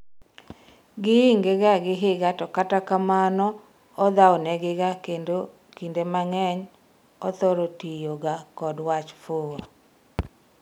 giinge gi higa to kata kamano odhawo ne giga kendo ekinde mang'eny othoro tiyo ga kod wach 'fuwo'